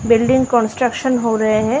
Building construction हो रहे हैं।